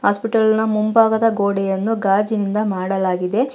Hospital ನ ಮುಂಭಾಗದ ಗೋಡೆಯನ್ನು ಗಾಜಿನಿಂದ ಮಾಡಲಾಗಿದೆ.